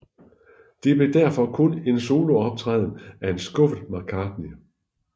Det blev derfor kun en solooptræden af en skuffet McCartney